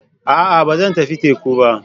A'a! Ba zan tafi teku ba.